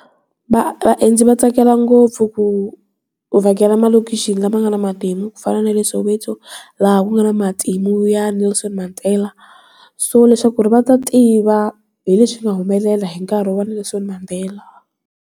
vaendzi va tsakela ngopfu ku vhakela malokishi lama nga na matimu ku fana na le Soweto laha ku nga na matimu ya Nelson Mandela so leswaku ri va ta tiva hi leswi nga humelela hi nkarhi wa Nelson Mandela.